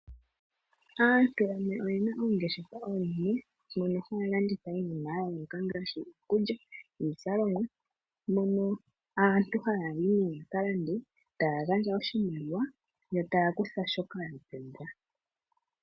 Aantu yamwe oye na oongeshefa oonene moka haya laditha iinima ya yooloka ngaashi ikulya niizalomwa mono aantu haya yi ya ka lande taya gandja oshimaliwa yo taya kutha shoka ya pumbwa.